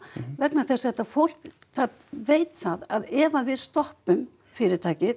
vegna þess að þetta fólk það veit það að ef við stoppum fyrirtækið